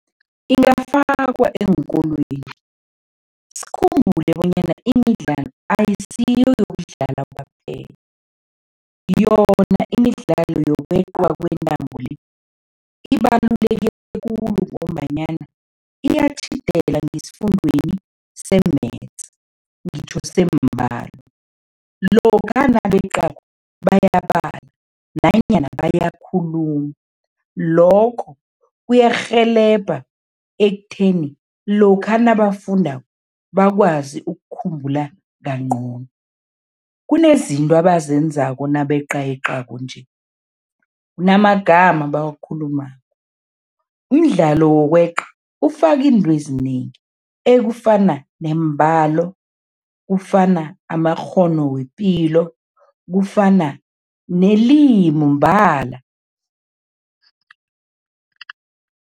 Ingafakwa eenkolweni, sikhumbule bonyana imidlalo ayisiyo yokudlala kwaphela. Yona imidlalo yokweqwa kwentambo le, ibaluleke khulu ngombanyana iyatjhidela ngesifundweni se-Maths, ngitjho sembalo. Lokha nabeqako, bayabala nanyana bayakhuluma, lokho kuyarhelebha ekutheni lokha nabafundako bakwazi ukukhumbula kangcono. Kunezinto abazenzako nabeqayeqako nje, kunamagama abawakhulumako. Umdlalo wokweqa ufaka into ezinengi ekufana nembalo kufana amakghono wepilo kufana nelimu mbala.